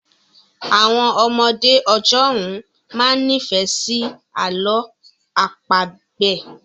Àwọn ọmọdé ọjọ́ ún máa ń nifẹ si àlọ àpagbẹ̀